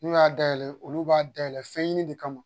N'u y'a dayɛlɛn olu b'a dayɛlɛn fɛnɲini de kama